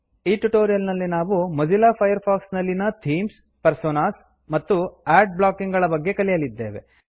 ಈ ಟ್ಯುಟೋರಿಯಲ್ ನಲ್ಲಿ ನಾವು ಮೋಝಿಲ್ಲ ಫೈರ್ ಫಾಕ್ಸ್ ನಲ್ಲಿನ ಥೀಮ್ಸ್ ಪರ್ಸೋನಾಸ್ ಮತ್ತು ಆಡ್ ಬ್ಲಾಕಿಂಗ್ ಗಳ ಬಗ್ಗೆ ಕಲಿಯಲಿದ್ದೇವೆ